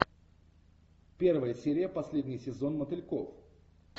первая серия последний сезон мотыльков